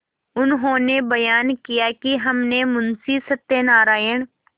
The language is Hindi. उन्होंने बयान किया कि हमने मुंशी सत्यनारायण